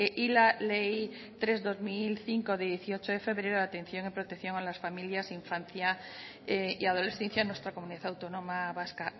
y la ley tres barra dos mil cinco de dieciocho de febrero de atención y protección a las familias infancia y adolescencia en nuestra comunidad autónoma vasca